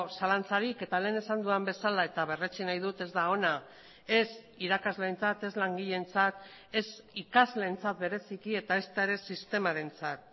zalantzarik eta lehen esan dudan bezala eta berretsi nahi dut ez da ona ez irakasleentzat ez langileentzat ez ikasleentzat bereziki eta ezta ere sistemarentzat